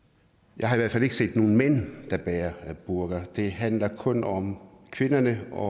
jeg har i hvert fald ikke set nogen mænd der bærer burka det handler kun om kvinderne og